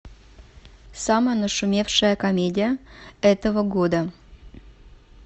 самая нашумевшая комедия этого года